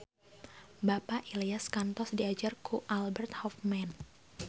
Bapak Ilyas kantos diajar ku Albert Hoffman